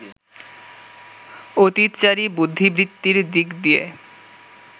অতীতচারী বুদ্ধিবৃত্তির দিক দিয়ে